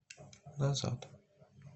назад